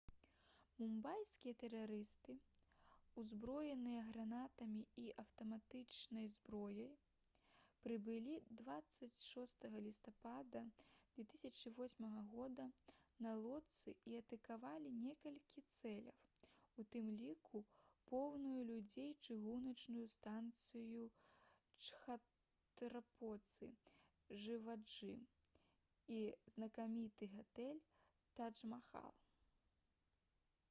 мумбайскія тэрарысты узброеныя гранатамі і аўтаматычнай зброяй прыбылі 26 лістапада 2008 года на лодцы і атакавалі некалькі цэляў у тым ліку поўную людзей чыгуначную станцыю чхатрапаці-шываджы і знакаміты гатэль тадж-махал